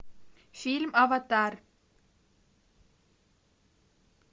фильм аватар